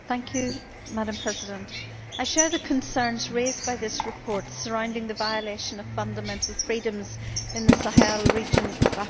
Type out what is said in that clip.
Madam President, I share the concerns raised by this report surrounding the violation of fundamental freedoms in the Sahel region of Africa.